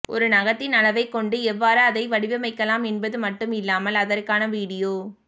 ஒரு நகத்தின் அளவைக் கொண்டு எவ்வாறு அதை வடிவமைக்கலாம் என்பது மட்டும் இல்லாமல் அதற்கான வீடியோ